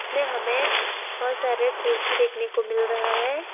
में हमें बहुत सारे कुर्सी देखने को मिल रहा है।